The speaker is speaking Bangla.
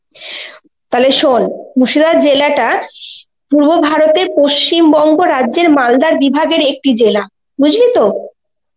তালে শোন মুর্শিদাবাদ জেলা টা পূর্ব ভারতের পশ্চিমবঙ্গ রাজ্যের মালদা বিভাগের একটি জেলা. বুঝলি তো?